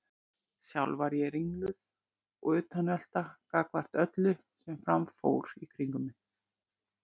Sjálf var ég ringluð og utanveltu gagnvart öllu sem fram fór í kringum mig.